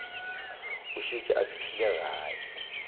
a šetše a fihlile gae